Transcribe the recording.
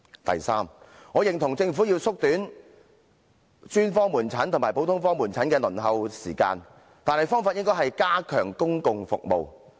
第三，我認同政府要縮短專科門診和普通科門診的輪候時間，但方法應是加強公共服務。